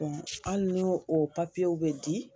Ɔ hali n'o o pafiyew bɛ di